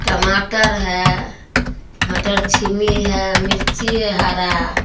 टमाटर है मटर छीमी है मिर्ची है हरा।